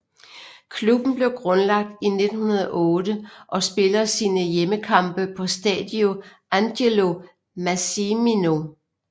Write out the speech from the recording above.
Klubben blev grundlagt i 1908 og spiller sine hjemmekampe på Stadio Angelo Massimino